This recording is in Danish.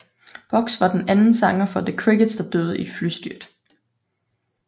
Box var den anden sanger for The Crickets der døde i et flystyrt